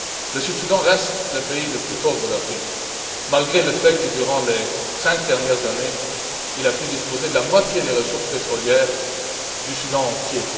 Le Sud Soudan reste le pays le plus pauvre d'Afrique malgré le fait que, durant les cinq dernières années, il a pu disposer de la moitié des ressources pétrolières du Soudan tout entier.